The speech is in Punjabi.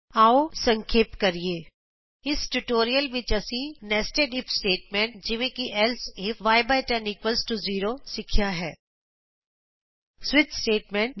ਆਉ ਸੰਖੇਪ ਕਰੀਏ ਇਸ ਟਯੂਟੋਰਿਅਲ ਵਿਚ ਅਸੀਂ ਸਿੱਖਿਆ ਹੈ ਨੇਸਟੈਡ ਇਫ ਸਟੇਟਮੈਂਟ ਜਿਵੇਂ ਕਿ ਏਲਸੇ ifਯ10 ਇਕੁਅਲਜ਼ ਟੋ 0 ਸਵਿਚ ਸਟੇਟਮੈਂਟ